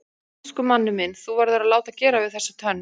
Elsku Manni minn þú verður að láta gera við þessa tönn.